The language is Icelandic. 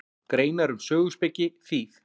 Greinar um söguspeki, þýð.